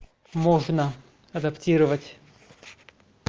можно адаптировать